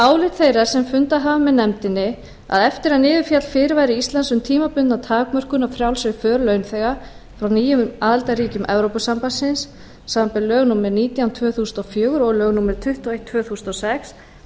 álit þeirra sem fundað hafa með nefndinni að eftir að niður féll fyrirvari íslands um tímabundna takmörkun á frjálsri för launþega frá nýjum aðildarríkjum evrópusambandsins samanber lög númer nítján tvö þúsund og fjögur og lög númer tuttugu og eitt tvö þúsund og sex